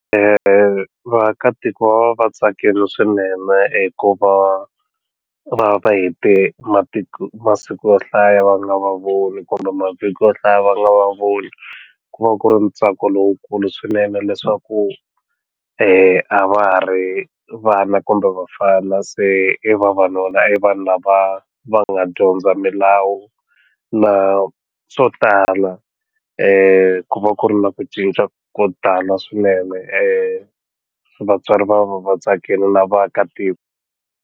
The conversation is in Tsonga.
Vaakatiko va tsakile swinene hikuva va va hete matiku masiku yo hlaya va nga voni kumbe mavhiki yo hlaya va nga va voni ku va ku ri ntsako lowukulu swinene leswaku a va ha ri vana kumbe vafana se i vavanuna i vanhu lava va nga dyondza milawu na swo tala ku va ku ri na ku cinca ko tala swinene vatswari va va vatsakini na vaakatiko.